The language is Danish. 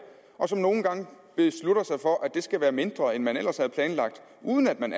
og nogle gange beslutter man sig for at det skal være mindre end man ellers havde planlagt uden at man